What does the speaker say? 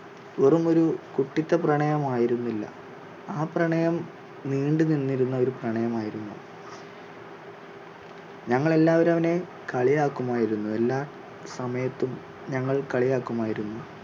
വെറും ഒരു കുട്ടിത്ത പ്രണയം ആയിരുന്നില്ല ആ പ്രണയം നീണ്ടുനിന്നിരുന്ന ഒരു പ്രണയം ആയിരുന്നു ഞങ്ങൾ എല്ലാവരും അവനെ കളിയാക്കുമായിരുന്നു എല്ലാ സമയത്തും ഞങ്ങൾ കളിയാക്കുമായിരുന്നു